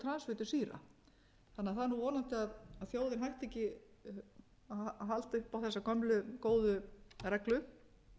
transfitusýra þannig að það er vonandi að þjóðin hætti ekki að halda upp á þessa gömlu góðu reglu